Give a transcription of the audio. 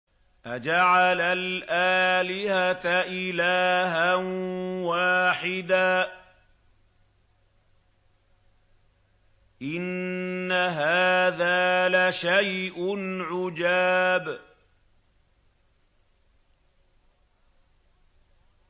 أَجَعَلَ الْآلِهَةَ إِلَٰهًا وَاحِدًا ۖ إِنَّ هَٰذَا لَشَيْءٌ عُجَابٌ